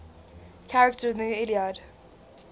characters in the iliad